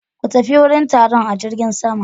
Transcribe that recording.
Ku tafi wurin taron a jirgin sama.